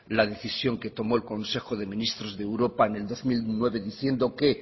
la decisión que tomó el consejo de ministros de europa en el dos mil nueve diciendo que